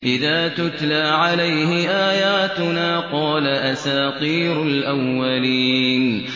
إِذَا تُتْلَىٰ عَلَيْهِ آيَاتُنَا قَالَ أَسَاطِيرُ الْأَوَّلِينَ